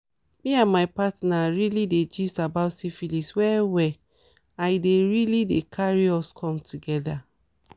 me and my partner really dey gist about syphilis well well and e dey really dey carry us come together